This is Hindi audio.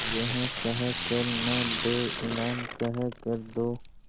यह कह कर न दो इनाम कह कर दो